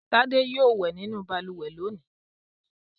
Tádé yóò wẹ̀ nínú balùwẹ̀ lónìí!